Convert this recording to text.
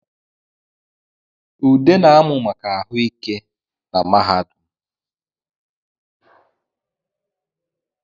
Ude na-amụ maka ahụ ike na mahadum